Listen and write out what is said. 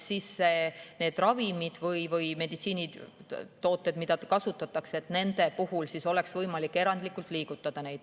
Neid ravimeid või meditsiinitooteid, mida kasutatakse, on siis võimalik erandlikult liigutada.